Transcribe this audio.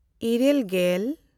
ᱤᱨᱟᱹᱞᱼᱜᱮᱞ